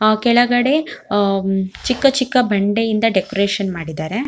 ಆ ಕೆಳಗಡೆ ಆಮ್ ಚಿಕ್ಕ ಚಿಕ್ಕ ಬಂಡೆಯಿಂದ ಡೆಕೋರೇಷನ್ ಮಾಡಿದರೆ.